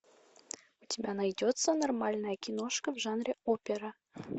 у тебя найдется нормальная киношка в жанре опера